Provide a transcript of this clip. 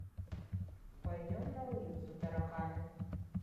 пойдем на улицу тараканы